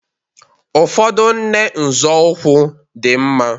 Ụfọdụ nne nzọụkwụ dị mma